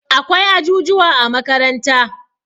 akwai ajujuwa a makaranta